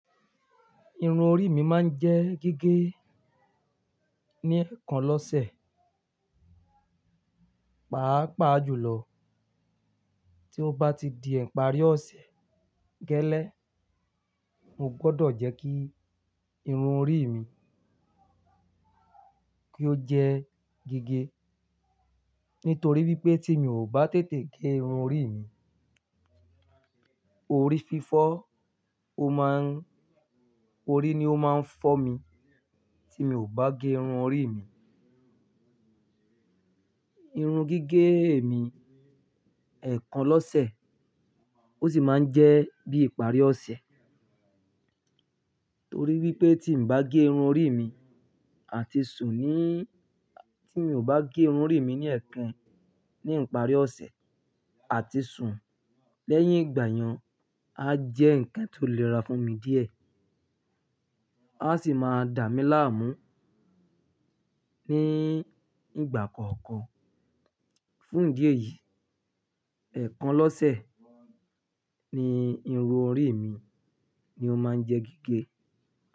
Irun orí mi máa ń jẹ́ gígé ní ẹ̀kan lọ́sẹ̀, pàápàá jùlọ tí ó bá ti di ìparí ọ̀sẹ̀ gẹ́lẹ́. Mo gbọdọ̀ jẹ́ kí irun orí mi kí ó jẹ́ gígé. Nítorí wípé tí mi ò bá tètè gé irun orí mi, orí fífọ́, ó má ń, orí ni ó máa ń fọ́ mi tí mi ò bá gé irun orí mi. Irun gige mi, ẹkan lọsẹ osi maa n jẹ bi ipari ọsẹ torí wípé tí n bá gé irun orí mi àti sùn ní, tí mi ò bá gé irun orí mi ní ẹ̀ẹ̀kan ní ìparí ọ̀sẹ̀ àti sùn lẹ́yìn ìgbà yẹn, a jẹ́ ǹkan tó lè ra fún mi díẹ̀. A sì máa dà mí láàmú ní ìgbà kọ̀ọ̀kan. Fún ìdí èyí, ẹ̀kan lọ́sẹ̀ ni irun orí mi ni ó máa ń jẹ́ gígé.